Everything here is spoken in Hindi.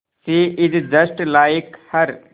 she is just like her